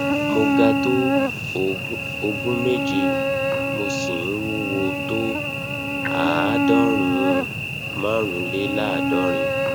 mo ga tó ogún méje mo sì ń wúwo tó àádọrùnún márùnléláàádọrin